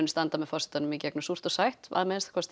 standa með forsetanum gegnum súrt og sætt